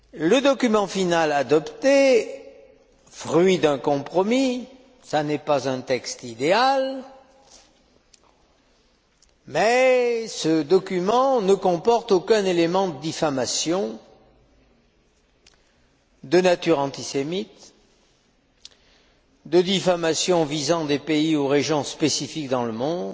Le document final adopté, fruit d'un compromis, n'est pas un texte idéal, mais ce document ne comporte aucun élément de diffamation de nature antisémite, de diffamation visant des pays ou régions spécifiques dans le monde,